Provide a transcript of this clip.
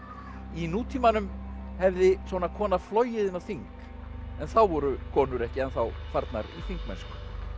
í nútímanum hefði svona kona flogið inn á þing en þá voru konur ekki ennþá farnar í þingmennsku